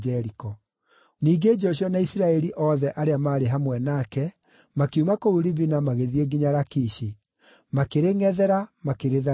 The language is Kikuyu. Ningĩ Joshua na Isiraeli othe arĩa maarĩ hamwe nake makiuma kũu Libina magĩthiĩ nginya Lakishi; makĩrĩngʼethera, makĩrĩtharĩkĩra.